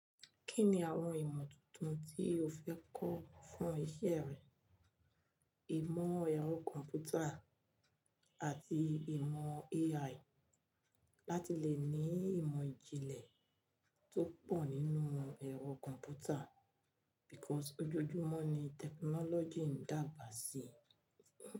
Kí ni àwọn ìmọ̀ tuntun tí o fẹ́ kọ́ fún isẹ́ rẹ? Ìmọ̀ ẹ̀rọ kọ̀m̀pútà àti ìmọ̀ AI láti lè ní ìmọ̀ ìjìnlẹ̀ tó pọ̀ nínú ẹ̀rọ kọ̀m̀pútà because ojoojúmọ́ ni technology ń dàgbà síi.